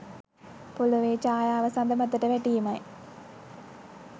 පොළොවේ ඡායාව සද මතට වැටීමයි.